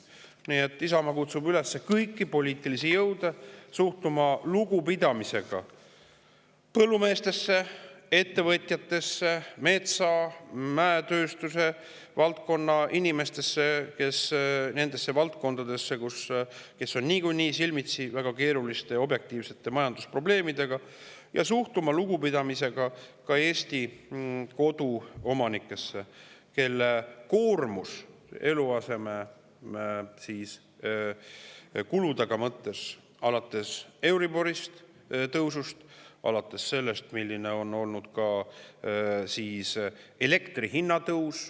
Isamaa kutsub kõiki poliitilisi jõude üles suhtuma lugupidamisega põllumeestesse, ettevõtjatesse, metsa- ja mäetööstuse inimestesse, nende valdkondade, kes on niikuinii silmitsi väga keeruliste objektiivsete majandusprobleemidega, ja suhtuma lugupidamisega ka Eesti koduomanikesse, kelle koormus eluasemekulude mõttes on euribori tõusu ja ka selle tõttu, milline on olnud elektri hinna tõus.